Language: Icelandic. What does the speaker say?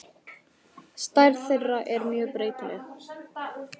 Stærð þeirra er mjög breytileg.